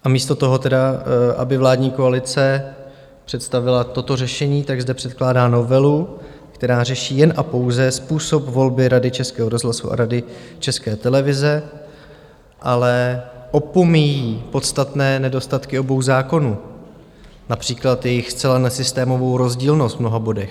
A místo toho tedy, aby vládní koalice představila toto řešení, tak zde předkládá novelu, která řeší jen a pouze způsob volby Rady Českého rozhlasu a Rady České televize, ale opomíjí podstatné nedostatky obou zákonů, například jejich zcela nesystémovou rozdílnost v mnoha bodech.